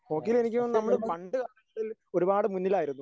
ഹോക്കിയിലെനിക്ക് തോന്നുന്നു നമ്മള് പണ്ട് ഒരുപാട് മുന്നിലായിരുന്നു.